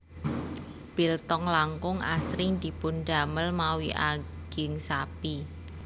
Biltong langkung asring dipundamel mawi aging sapi